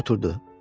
Oturdu.